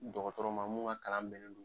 Dɔgɔtɔrɔma mun ka kalan bɛlen do